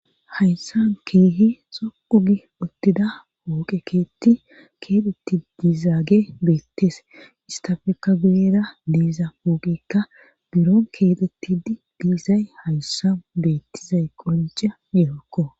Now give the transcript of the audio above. Hayssan keehi xoqu gi ottida pooqekeeti keetetti diizaage beettes istafekka guyera diiza pooqekka biron keexettid diisay hayssa beettizay qoncha yehokko